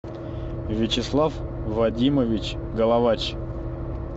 вячеслав вадимович головач